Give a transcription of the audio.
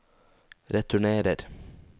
returnerer